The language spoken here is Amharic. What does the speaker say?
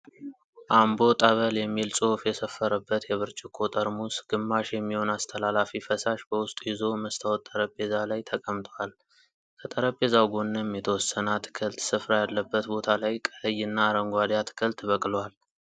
አምቦ ጠበል የሚል ጽሁፍ የሰፈረበት የብርጭቆ ጠርሙስ ግማሽ የሚሆን አስተላላፊ ፈሳሽ በዉስጡ ይዞ መስታወት ጠረጴዛ ላይ ተቀምጧል። ከጠረጴዛው ጎንም የተወሰነ አትክልት ስፍራ ያለበት ቦታ ላይ ቀይ እና አረንጓዴ አትክልት በቅሏል።